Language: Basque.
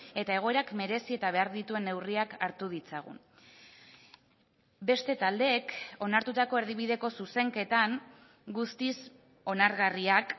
eta egoerak merezi eta behar dituen neurriak hartu ditzagun beste taldeek onartutako erdibideko zuzenketan guztiz onargarriak